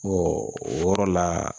o yɔrɔ la